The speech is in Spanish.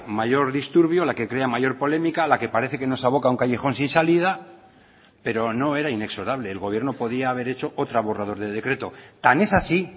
mayor disturbio la que crea mayor polémica la que parece que nos aboca a un callejón sin salida pero no era inexorable el gobierno podía haber hecho otro borrador de decreto tan es así